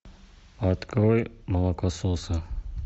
открой молокососы